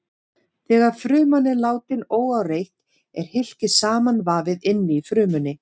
Þegar fruman er látin óáreitt er hylkið samanvafið inni í frumunni.